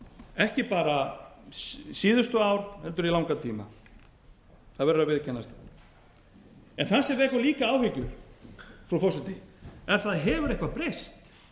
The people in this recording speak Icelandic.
ekki bara síðustu ár heldur í langan tíma það verður að viðurkennast það sem vekur líka áhyggjur frú forseti er hefur eitthvað breyst